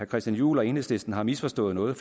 christian juhl og enhedslisten har misforstået noget